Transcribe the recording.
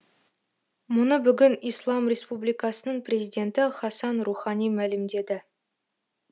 мұны бүгін ислам республикасының президенті хасан рухани мәлімдеді